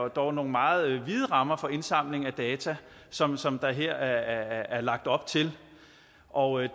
dog er nogle meget vide rammer for indsamling af data som som der her er lagt op til og jeg